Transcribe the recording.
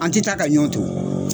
An ti taa ka ɲɔn to.